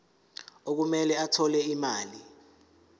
okumele athole imali